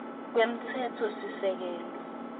kwemtsetfosisekelo